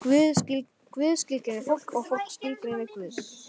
Guð skilgreinir fólk og fólk skilgreinir Guð.